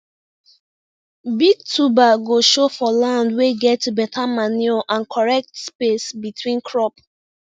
big tuber go show for land wey get better manure and correct space between crop